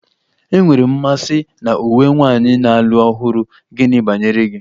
Enwere m mmasị na uwe nwanyị na-alụ ọhụrụ, gịnị banyere gị?